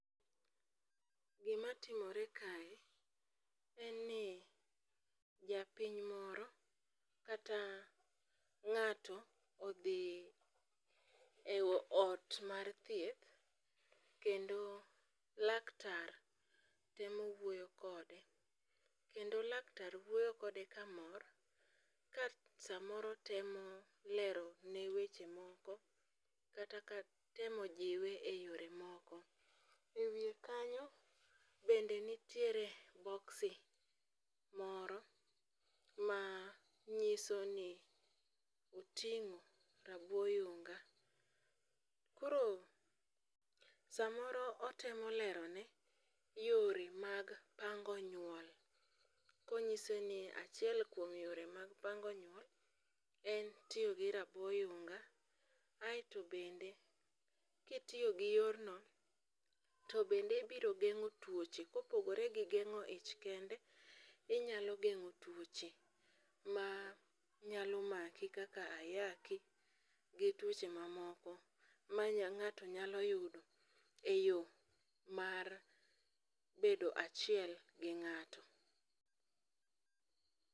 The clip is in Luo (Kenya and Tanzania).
Gimatimore kae en ni japiny moro kata ng'ato odhi e ot mar thieth kendo laktar temo wuoyo kode, kendo laktar wuoyo kode kamor, ka samoro temo lerone weche moko kata ka itemo jiwe e yore moko. E wiye kanyo bende nitiere boksi moro ma nyisoni oting'o rabo oyunga. Koro samoro otemo lerone yore mag pango nyuol konyiseni achiel kuom yore mag pango nyuol en tiyo gi rabo yunga aeto bende, kitiyo gi yorno, to bende biro geng'o tuoche kopogore gi geng'o ich kende, inyalo geng'o tuoche ma nyalo maki kaka ayaki, gi tuoche mamoko ma ng'ato nyalo yudo e yo mar bedo achiel gi ng'ato.